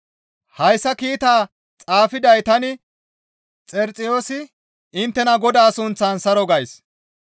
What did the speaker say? Hayssa kiitaa xaafiday tani Xerixiyoosi inttena Godaa sunththan saro gays.